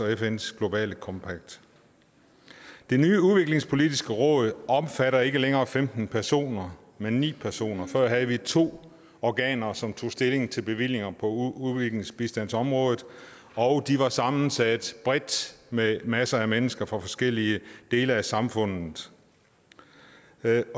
og fns global compact det nye udviklingspolitisk råd omfatter ikke længere femten personer men ni personer før havde vi to organer som tog stilling til bevillinger på udviklingsbistandsområdet og de var sammensat bredt med masser af mennesker fra forskellige dele af samfundet